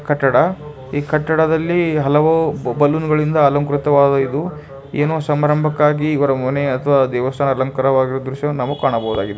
ಕಟ್ಟಡ ಈ ಕಟ್ಟಡದಲ್ಲಿ ಹಲವು ಬಲೂನ್ ಗಳಿಂದ ಅಲಂಕೃತವಾಗಿದೆ ಏನೋ ಸಂಭ್ರಮಕ್ಕಾಗಿ ಇವರ ಮನೆ ದೇವಸ್ಥಾನ ಅಲಂಕಾರವಾಗಿರುವ ದೃಶ್ಯವನ್ನು ಕಾಣಬಹುದು.